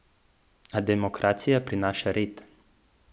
A demokracija prinaša red.